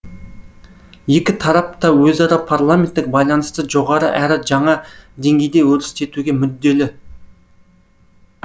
екі тарап та өзара парламенттік байланысты жоғары әрі жаңа деңгейде өрістетуге мүдделі